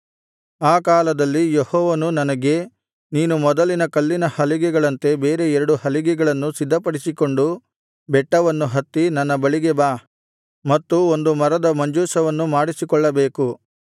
ಆ ಕಾಲದಲ್ಲಿ ಯೆಹೋವನು ನನಗೆ ನೀನು ಮೊದಲಿನ ಕಲ್ಲಿನ ಹಲಿಗೆಗಳಂತೆ ಬೇರೆ ಎರಡು ಹಲಿಗೆಗಳನ್ನು ಸಿದ್ಧಪಡಿಸಿಕೊಂಡು ಬೆಟ್ಟವನ್ನು ಹತ್ತಿ ನನ್ನ ಬಳಿಗೆ ಬಾ ಮತ್ತು ಒಂದು ಮರದ ಮಂಜೂಷವನ್ನು ಮಾಡಿಸಿಕೊಳ್ಳಬೇಕು